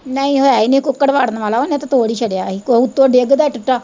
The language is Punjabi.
ਨਹੀਂ ਓ ਹੈ ਹੀ ਨੀ ਕੁੱਕੜ ਵਾੜਨ ਵਾਲਾ ਓਨੇ ਤੇ ਤੋੜ ਹੀ ਸੜਿਆ ਹੀ, ਤੇ ਕੋਈ ਓੁੱਤੇ ਡਿੱਗਦਾ ਟਿੱਟਾ।